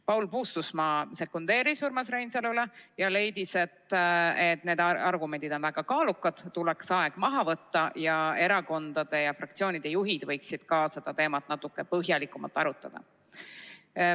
Paul Puustusmaa sekundeeris Urmas Reinsalule ja leidis, et need argumendid on väga kaalukad, tuleks aeg maha võtta ja erakondade ja fraktsioonide juhid võiksid seda teemat natuke põhjalikumalt arutada.